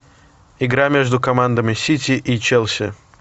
игра между командами сити и челси